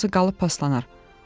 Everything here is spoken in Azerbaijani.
yoxsa qalıb paslanar.